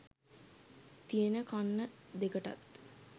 තියෙන කන්න දෙකටත්